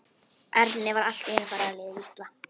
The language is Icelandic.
Erni var allt í einu farið að líða illa.